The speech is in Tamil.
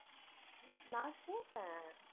நான் கேட்பேன்.